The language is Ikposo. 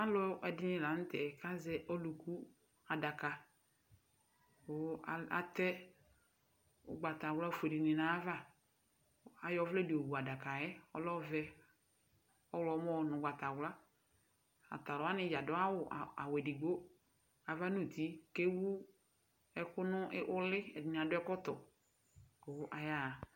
Alʋ ɛdini laŋtɛ kazɛ ɔlʋku adaka kʋ atɛ ugbatawla fueleni nayava Ayɔ ɔvlɛ di yɔ wu adakayɛ, ɔlɛ ɔvɛ, ɔɣlɔmɔ nʋ'gbatawla Atalʋwani dzaa adʋ awʋ edigbo, ava nʋ'ti kewu ɛkʋ nʋ'li, ɛdini adʋ ɛkɔtɔ kʋ ayaha